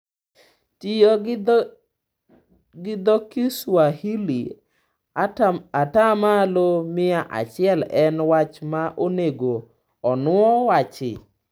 Tiyo gi dho Kiswahili ata malo mia achiel en wach ma onego onuo wachi?